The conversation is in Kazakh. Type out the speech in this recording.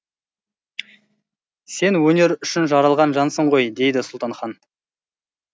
сен өнер үшін жаралған жансың ғой дейді сұлтанхан